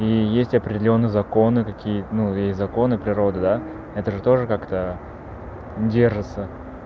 и есть определённые законы какие ну есть законы природы да это же тоже как-то держится